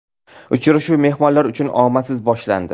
Uchrashuv mehmonlar uchun omadsiz boshlandi.